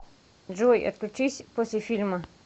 джой отключись после фильма